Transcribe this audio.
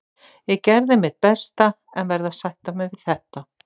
Ég gerði mitt besta en verð að sætta mig við þetta.